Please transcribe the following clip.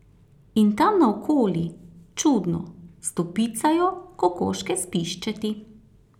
In tam naokoli, čudno, stopicajo kokoške s piščeti.